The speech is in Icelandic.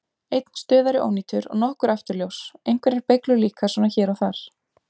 Einn stuðari ónýtur og nokkur afturljós, einhverjar beyglur líka svona hér og þar.